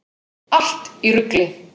Allt í rugli!